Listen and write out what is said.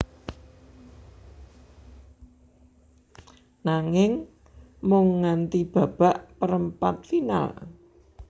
Nanging mung nganti babak perempat final